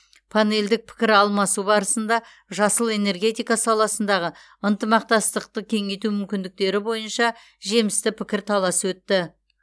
панелдік пікір алмасу барысында жасыл энергетика саласындағы ынтымақтастықты кеңейту мүмкіндіктері бойынша жемісті пікірталас өтті